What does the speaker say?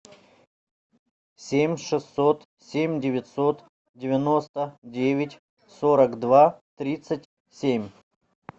семь шестьсот семь девятьсот девяносто девять сорок два тридцать семь